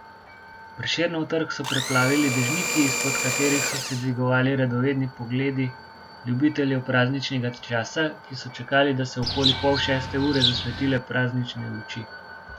Prešernov trg so preplavili dežniki, izpod katerih so se dvigovali radovedni pogledi ljubiteljev prazničnega časa, ki so čakali, da so okoli pol šeste ure zasvetile praznične luči.